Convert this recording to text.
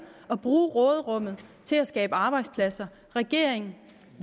at bruge råderummet til at skabe arbejdspladser regeringen